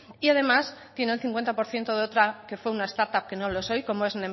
y además tiene el cincuenta por ciento de otra que fue una startup que no lo es hoy como es